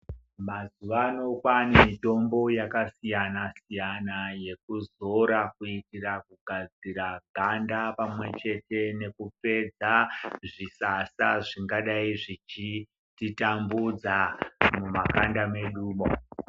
Mazuwano kwane mitombo yakasiyana siyana yekuzora kuitira kugadzira ganda pamwe chete nekupedza zvisasa zvingadai zvichititambudza mumakanda medumo.